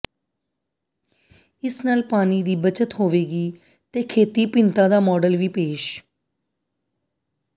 ਇਸ ਨਾਲ ਪਾਣੀ ਦੀ ਬਚਤ ਹੋਵੇਗੀ ਤੇ ਖੇਤੀ ਭਿੰਨਤਾ ਦਾ ਮਾਡਲ ਵੀ ਪੇਸ਼